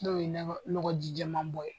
N'o ye nɔgɔjijɛmabɔ ye.